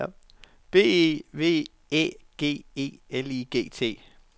B E V Æ G E L I G T